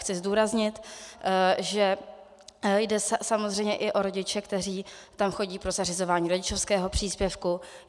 Chci zdůraznit, že jde samozřejmě i o rodiče, kteří tam chodí pro zařizování rodičovského příspěvku.